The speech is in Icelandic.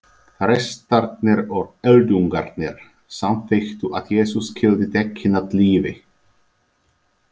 Prestarnir og öldungarnir samþykktu að Jesús skyldi tekinn af lífi.